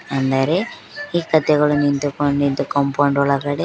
ಅಂದರೆ ಈ ಕತ್ತೆಗಳು ನಿಂತುಕೊ ನಿಂತು ಕಾಂಪೌಂಡ್ ಒಳಗಡೆ--